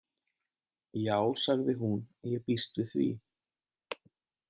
Já sagði hún, ég býst við því